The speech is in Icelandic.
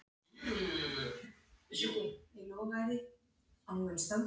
Karen: En hvers vegna valdirðu að koma í Húsmæðraskólann?